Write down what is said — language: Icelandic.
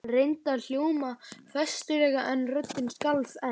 Hann reyndi að hljóma festulega en röddin skalf enn.